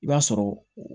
I b'a sɔrɔ